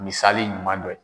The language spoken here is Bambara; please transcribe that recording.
Misali ɲuman dɔ